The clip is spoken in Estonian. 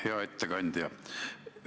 Hea ettekandja!